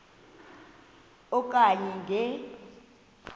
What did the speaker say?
e okanye nge